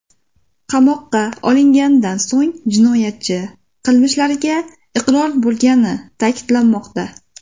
Qamoqqa olinganidan so‘ng jinoyatchi qilmishlariga iqror bo‘lgani ta’kidlanmoqda.